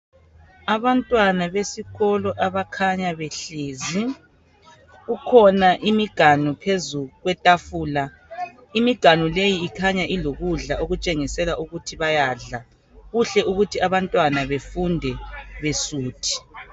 Abantwana besikolo abakhanya behlezi. Kukhona imiganu phezu kwetafula. Imiganu leyi ikhanya ilokudla okutshengisela ukuthi bayadla. Kuhle ukuthi abantwana befunde besuthi.